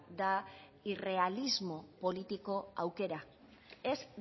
da irrealismo politiko aukera ez